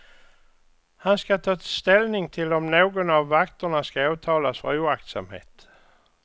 Han ska ta ställning till om någon av vakterna ska åtalas för oaktsamhet.